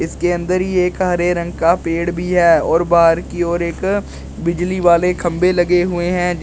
इसके अंदर ही एक हरे रंग का पेड़ भी है और बाहर की ओर एक बिजली वाले खंभे लगे हुए है जी--